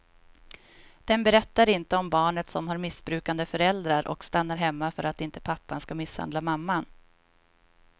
Den berättar inte om barnet som har missbrukande föräldrar och stannar hemma för att inte pappan ska misshandla mamman.